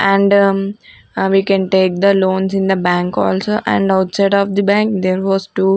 and we can take the loans in the bank also and outside of the bank there was two--